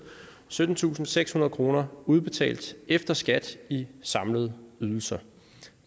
syttentusinde og sekshundrede kroner udbetalt efter skat i samlede ydelser